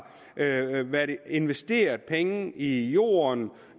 investeret penge i jorden